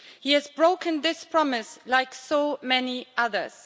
He has broken this promise like so many others.